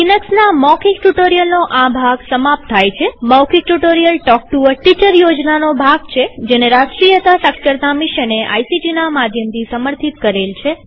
લિનક્સના મૌખિક ટ્યુ્ટોરીઅલનો આ ભાગ સમાપ્ત થાય છેમૌખિક tutorial talk to a teacher યોજનાનો ભાગ છેજેને રાષ્ટ્રીય સાક્ષરતા મિશને આઇસીટી ના માધ્યમથી સમર્થિત કરેલ છે